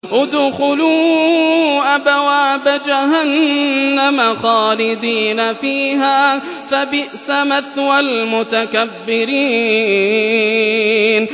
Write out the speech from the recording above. ادْخُلُوا أَبْوَابَ جَهَنَّمَ خَالِدِينَ فِيهَا ۖ فَبِئْسَ مَثْوَى الْمُتَكَبِّرِينَ